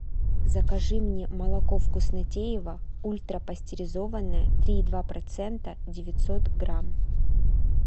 закажи мне молоко вкуснотеево ультрапастеризованное три и два процента девятьсот грамм